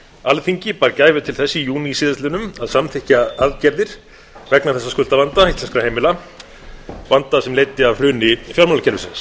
alþingi bar gæfu til þess í júní síðastliðnum að samþykkja aðgerðir vegna þessa skuldavanda íslenskra heimila vanda sem leiddi af hruni fjármálakerfisins